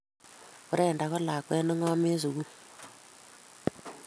Brenda ko lakwet ne ngom en sukul